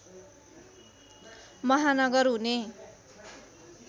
महानगर हुने